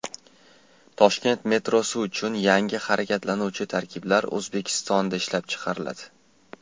Toshkent metrosi uchun yangi harakatlanuvchi tarkiblar O‘zbekistonda ishlab chiqariladi.